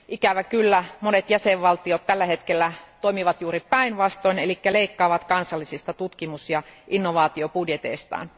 Ikävä kyllä monet jäsenvaltiot tällä hetkellä toimivat juuri päinvastoin eli leikkaavat kansallisista tutkimus ja inovaatiobudjeteistaan.